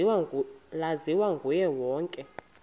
laziwa nguye wonke